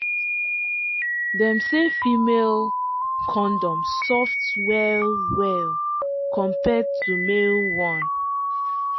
dem say female um condom soft well-well compared to male one.